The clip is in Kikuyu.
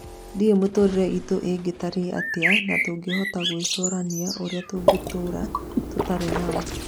Ndĩũĩ mĩtũrĩre itũ ĩngĩtarie atĩa na tũngĩhota gwĩcorania ũrĩa tũngĩtora tũtarĩ nao.